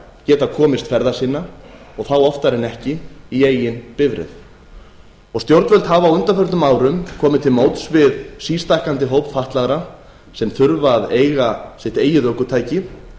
geta komist ferða sinna og þá oftar en ekki í eigin bifreið stjórnvöld hafa á undanförnum árum komið til móts við sístækkandi hóp fatlaðra sem þurfa að eiga sitt eigið ökutæki